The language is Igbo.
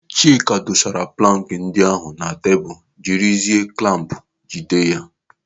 Chidi dosara plankị ndị ahụ na tebụl jiri zie klamp jide ha.